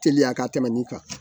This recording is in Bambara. Teliya ka tɛmɛn nin kan